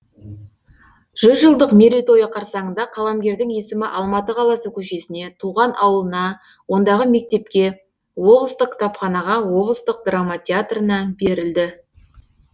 жүз жылдық мерейтойы қарсаңында қаламгердің есімі алматы қаласы көшесіне туған ауылына ондағы мектепке облыстық кітапханаға облыстық драма театрына берілді